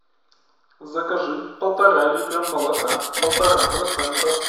закажи полтора литра молока полтора процента